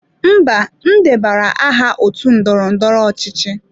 Mba, m debanyere aha otu ndọrọ ndọrọ ọchịchị.